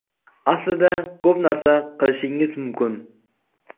Aslida ko‘p narsa qilishingiz mumkin.